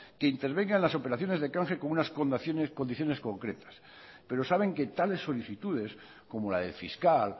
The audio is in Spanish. que intervenga en las operaciones de canje con unas condiciones concretas pero saben que tales solicitudes como la del fiscal